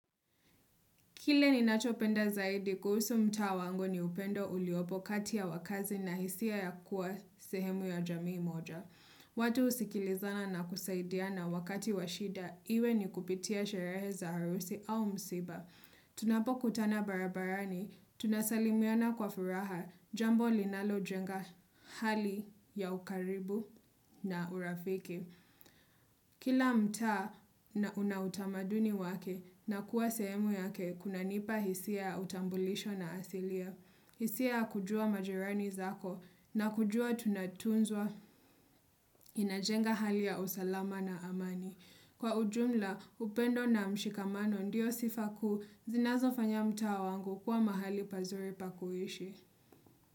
Kile ni nachopenda zaidi kuhusu mta wango ni upendo uliopo kati ya wakazi na hisia ya kuwa sehemu ya jamii moja. Watu husikilizana na kusaidia na wakati washida iwe ni kupitia sherehe za arusi au msiba. Tunapo kutana barabarani, tunasalimiona kwa furaha jambo linalo jenga hali ya ukaribu na urafiki. Kila mtaa na unautamaduni wake na kuwa semu yake kunanipa hisia utambulisho na asilia. Hisia kujua majerani zako na kujua tunatunzwa inajenga hali ya usalama na amani. Kwa ujumla upendo na mshikamano ndiyo sifaku zinazo fanya mta wangu kuwa mahali pazuri pakuishi.